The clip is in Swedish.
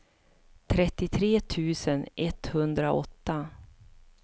trettiotre tusen etthundraåtta